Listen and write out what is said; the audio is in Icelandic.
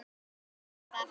Skoðum það.